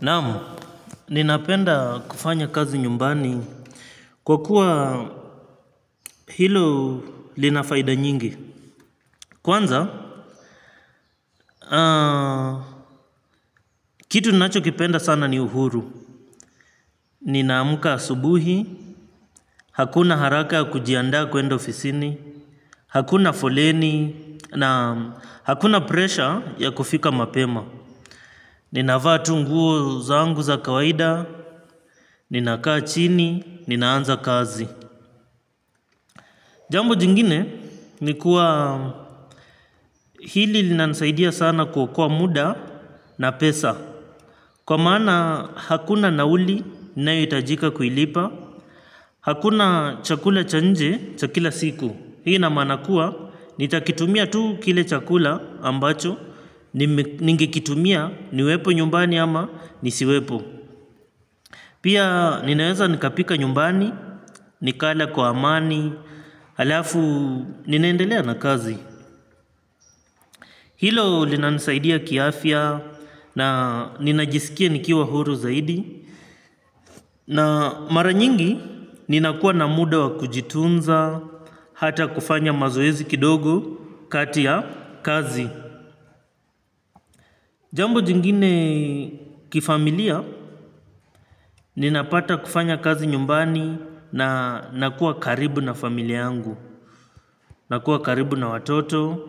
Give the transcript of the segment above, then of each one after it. Naamu, ninapenda kufanya kazi nyumbani kwa kuwa hilo linafaida nyingi. Kwanza, kitu ninachokipenda sana ni uhuru. Ninaamka asubuhi, hakuna haraka ya kujianda kwenda ofisini, hakuna foleni na hakuna pressure ya kufika mapema. Ninavaa tu nguo zangu za kawaida, ninakaa chini, ninaanza kazi. Jambo jingine ni kuwa hili linansaidia sana kwa muda na pesa. Kwa maana hakuna nauli ninayohitajika kuilipa. Hakuna chakula cha nje cha kila siku. Hii inamaana kuwa nitakitumia tu kile chakula ambacho. Ningekitumia niwepo nyumbani ama nisiwepo. Pia ninaweza nikapika nyumbani, nikala kwa amani, halafu ninaendelea na kazi. Hilo linanisaidia kiafia na ninajisikia nikiwa huru zaidi na mara nyingi ninakua na muda wa kujitunza hata kufanya mazoezi kidogo kati ya kazi. Jambo jingine kifamilia, ninapata kufanya kazi nyumbani na nakuwa karibu na familia yangu, nakuwa karibu na watoto,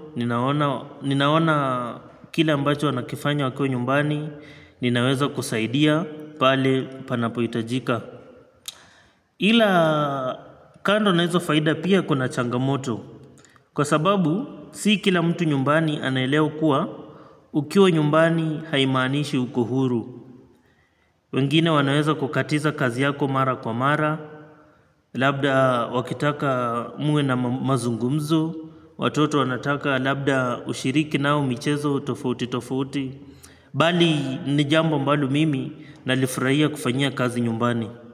ninaona kila ambacho wanakifanya wako nyumbani, ninaweza kusaidia pale panapohitajika. Ila kando nahizo faida pia kuna changamoto kwa sababu, si kila mtu nyumbani anaelewa kuwa ukiwa nyumbani haimanishi ukohuru. Wengine wanaweza kukatiza kazi yako mara kwa mara. Labda wakitaka muwe na mazungumzo. Watoto wanataka labda ushiriki nao michezo tofuti tofuti mbali nijambo ambalo mimi nalifurahia kufanyia kazi nyumbani.